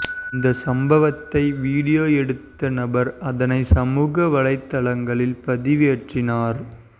இந்த சம்பவத்தை வீடியோ எடுத்த நபர் அதனை சமூக வலைதளங்களில் பதிவேற்றினார்